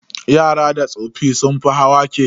Yara da tsoffi sun fi hawa keke.